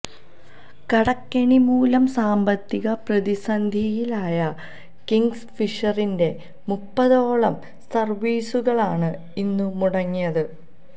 കടക്കെണിമൂലം സാമ്പത്തിക പ്രതിസന്ധിയിലായ കിംഗ്ഫിഷറിന്റെ മുപ്പതോളം സര്വീസുകളാണ് ഇന്നു മുടങ്ങിയത്